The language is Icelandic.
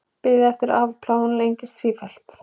Bið eftir afplánun lengist sífellt